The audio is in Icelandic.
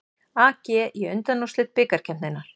AG í undanúrslit bikarkeppninnar